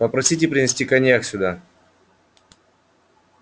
попросите принести коньяк сюда